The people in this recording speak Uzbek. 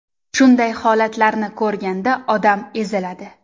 Shunday holatlarni ko‘rganda odam eziladi.